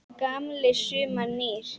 Gamlir saumar og nýir